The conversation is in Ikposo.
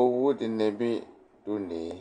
Owu dɩnɩ bɩ dʋ une yɛ